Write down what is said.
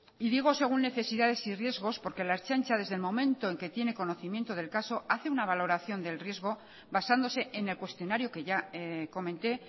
y digo según necesidades y riesgos porque la ertzaintza desde el momento en que tiene conocimiento del caso hace una valoración del riesgo basándose en el cuestionario que ya comenté